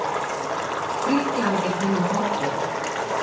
Grikklandi hinu forna.